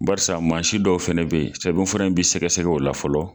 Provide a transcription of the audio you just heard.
Baarisa mansin dɔw fɛnɛ bɛ yen, sɛbɛnfura in bɛ sɛgɛsɛgɛ ola fɔlɔ.